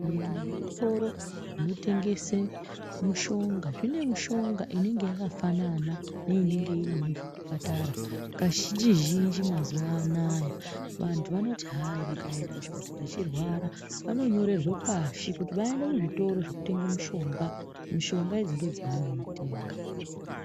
Maererano nezvitoro zvinotengese mushonga zvine mishonga inenge yakafanana neinenge iri muzvitapara kazhinjizhinji. Mazuwa anaya vantu vanoti hai vakaenda kuchipatara veirwara vanonyorerwe pashi kuti vaende kuzvitoro zvekutenge mushonga ,mishonga idzi ndidzo dzaanotenga.